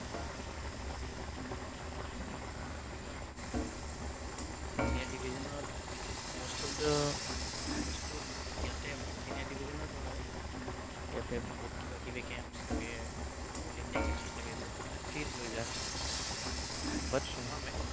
Senior division ত most of the বস্তুত ইয়াতে senior division ত হয়। ইয়াতে বহুত কিবা কিবি camps থাকে, all India camps থাকে, যত মানে free ত লৈ যায়।